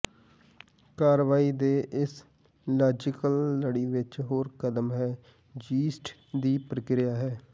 ਕਾਰਵਾਈ ਦੇ ਇਸ ਲਾਜ਼ੀਕਲ ਲੜੀ ਵਿਚ ਹੋਰ ਕਦਮ ਹੈ ਯੀਸਟ ਦੀ ਪ੍ਰਕਿਰਿਆ ਹੈ